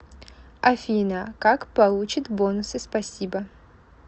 афина как получит бонусы спасибо